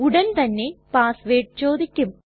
ഉടൻ തന്നെ password ചോദിക്കും